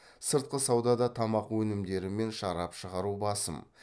сыртқы саудада тамақ өнімдері мен шарап шығару басым